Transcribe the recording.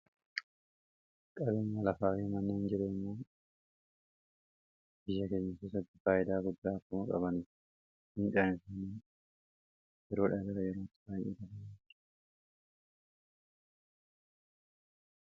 Qabeenyi lafaa faayidaa guddaa qaba.